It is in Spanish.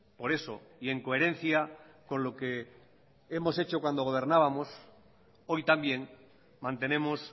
por eso y en coherencia con lo que hemos hecho cuando gobernábamos hoy también mantenemos